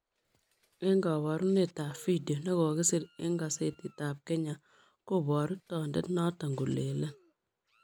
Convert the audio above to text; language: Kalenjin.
En kaparunet ab video nekokisir en kasetit ab Kenya kobaru tondet noton kolelen